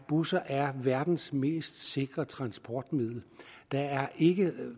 busser er verdens mest sikre transportmiddel der er ikke